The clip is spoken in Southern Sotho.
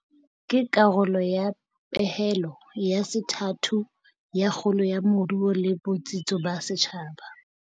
Ke karolo ya pehelo ya sethathu ya kgolo ya moruo le botsitso ba setjhaba.